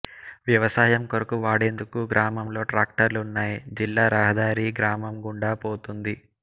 వ్యవసాయం కొరకు వాడేందుకు గ్రామంలో ట్రాక్టర్లున్నాయి జిల్లా రహదారి గ్రామం గుండా పోతోంది